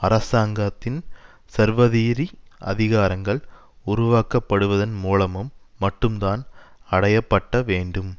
அரசாங்கத்தின் சர்வதிரி அதிகாரங்கள் உருவாக்கப்படுவதன் மூலமும் மட்டும்தான் அடைய பட்ட வேண்டும்